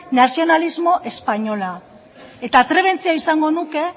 nazionalismo espainola eta atrebentzia izango nuke